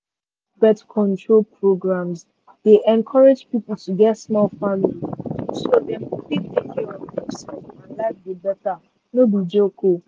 birth-control programs dey encourage people to get small family so dem go fit give take care of demself and live better life. no be joke